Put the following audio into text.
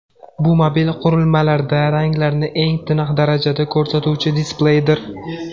Bu mobil qurilmalarda ranglarni eng tiniq darajada ko‘rsatuvchi displeydir.